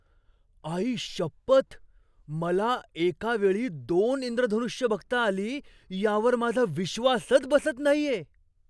आईशपथ, मला एका वेळी दोन इंद्रधनुष्य बघता आली यावर माझा विश्वासच बसत नाहीये!